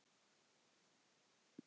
Það gilti hann einu.